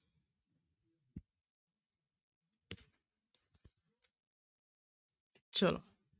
ਚਲੋ।